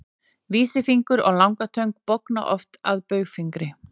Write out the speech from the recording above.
vísifingur og langatöng bogna oft að baugfingri